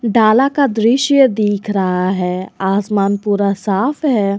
डाला का दृश्य दिख रहा है आसमान पूरा साफ है।